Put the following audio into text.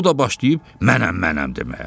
O da başlayıb mənəm, mənəm deməyə.